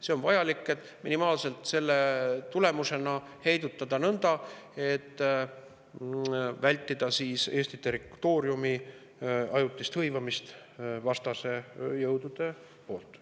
See on vajalik, et selle tulemusena saaks heidutada minimaalselt nõnda, et vältida Eesti territooriumi isegi ajutist hõivamist vastase jõudude poolt.